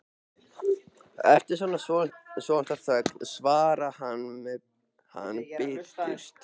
Eftir svolitla þögn svarar hann biturt